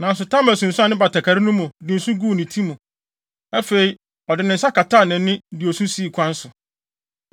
Nanso Tamar sunsuan ne batakari no mu, de nsõ guu ne ti mu. Afei, ɔde ne nsa kataa nʼani, de osu sii kwan so.